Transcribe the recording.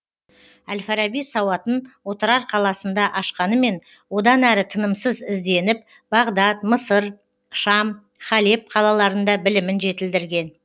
әл фараби сауатын отырар қаласында ашқанымен одан әрі тынымсыз ізденіп бағдат мысыр шам халеб қалаларында білімін жетілдірген